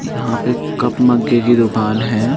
यहाँ पर कप मगगे की दुकान है।